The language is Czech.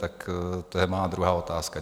Tak to je má druhá otázka.